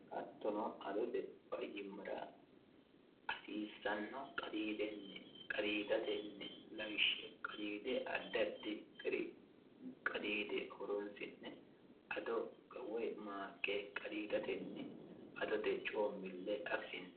hattono adote fayyimmara hasiissanno qadiidenni qadiidatenni lawishsha qadiide addi adii gari qadiide horonsi'ne ado woy maaqqe qadiidatenni adote coommille afisiinsanni.